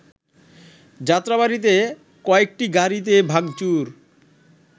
যাত্রাবাড়ীতে কয়েকটি গাড়িতে ভাংচুর